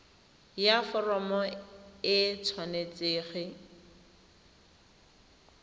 ya foromo e tshwanetse go